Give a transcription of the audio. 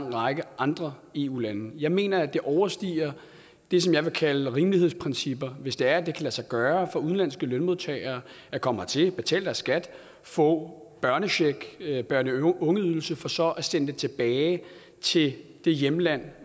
lang række andre eu lande jeg mener at det overstiger det som jeg vil kalde rimelighedsprincipper hvis det er at det kan lade sig gøre for udenlandske lønmodtagere at komme hertil betale deres skat få børnechecken børne og ungeydelsen for så at sende den tilbage til det hjemland